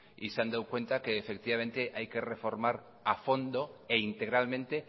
y se han dado cuenta que efectivamente hay que reformar a fondo e integralmente